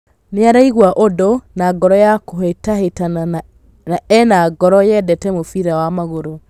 "Nĩaraigua ũndũ na ngoro ya kũhĩtahĩtana na ena ngoro yendete mũbira wa magũrũ.